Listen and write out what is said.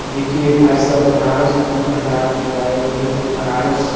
देखिये भाई साहब बनारस फूल भंडार लिखवाये हुए हैं जो बनारस --